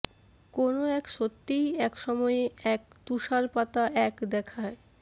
কোন এক সত্যিই এক সময়ে এক তুষারপাতা এক দেখায়